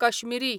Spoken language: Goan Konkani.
कश्मिरी